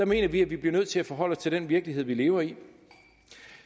mener at vi bliver nødt til at forholde os til den virkelighed vi lever i